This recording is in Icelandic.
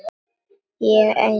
Ég er einnar borgar maður.